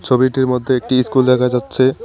ছবিটির মধ্যে একটি ইস্কুল দেখা যাচ্ছে।